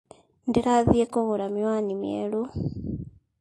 Ndĩrathiĩ kũgũra miwani mieru